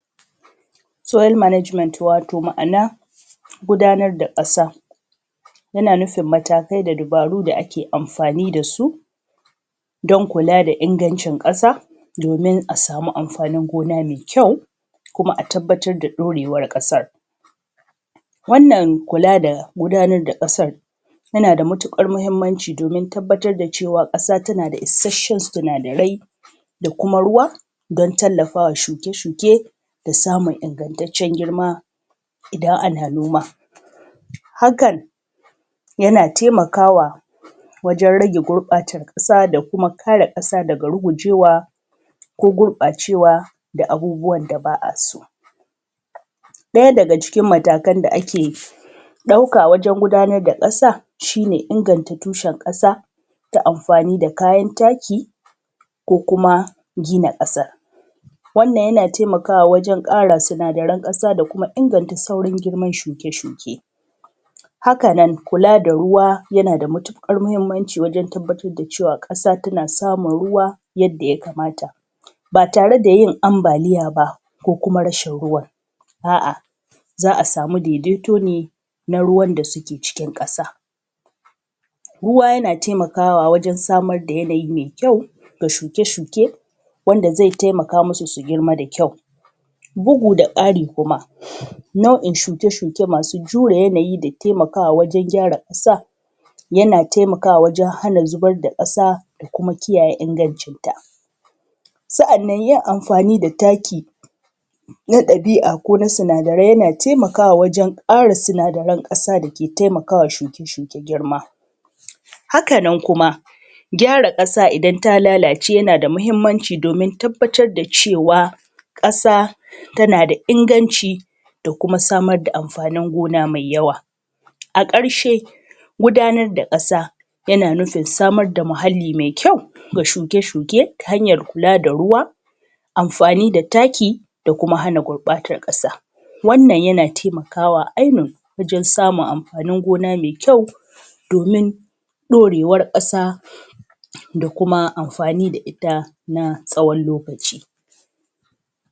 soil management wato ma’ana gudanar da ƙasa yana nufin matakai da dabaru da ake amfani da su don kula da ingancin ƙasa domin a samu amfanin gona mai kyau kuma a tabbatar da ɗorewar ƙasar wannan kula da gudanar da ƙasar yana da matuƙar muhimmanci domin tabbatar da cewa ƙasa tana da isasshen sinadarai da kuma ruwa don tallafa wa shuke shuke da samun ingantaccen girma idan ana noman hakan yana taimakawa wajen rage gurɓacewar ƙasa da kuma kare ƙasa daga rugujewa ko gurɓacewa da abubuwan da ba a so ɗaya daga cikin matakan da ake ɗauka wajen gudanar da ƙasa shi ne inganta tushen ƙasa da amfani da kayan taki ko kuma gina ƙasar wannan yana taimakawa wajen ƙara sinadaran ƙasa da kuma inganta sauran girman shuke shuke haka nan kula da ruwa yana da matuƙar muhimmanci wajen tabbatar da cewa ƙasa tana samun ruwa yadda ya kamata ba tare da yin ambaliya ba ko kuma rashin ruwan a’a za a samu daidaito ne na ruwan da suke cikin ƙasa ruwa yana taimakawa wajen samar da yanayi mai kyau ga shuke shuke wanda zai taimaka musu su girma da kyau bugu da ƙari kuma nau’in shuke shuke masu jure yanayi da taimakawa wajen gyara ƙasa yana taimakawa wajen hana zubar da ƙasa da kuma kiyaye ingancinta sa’annan yin amfani da taki na ɗabi’a ko sinadarai yana taimakawa wajen ƙara sinadaran ƙasa da ke taimaka wa shuke shuke girma haka nan kuma gyara ƙasa idan ta lalace yana da muhimmanci domin tabbatar da cewa ƙasa tana da inganci da kuma samar da amfanin gona mai yawa a ƙarshe gudanar da ƙasa yana nufin samar da muhalli mai kyau ga shuke shuke ta hanyar kula da ruwa amfani da taki da kuma hana gurɓatar ƙasa wannan yana taimakawa ainun wajen samun amfanin gona mai kyau domin ɗorewar ƙasa da kuma amfani da ita na tsawon lokaci